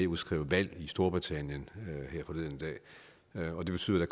udskrev valg i storbritannien forleden dag og det betyder at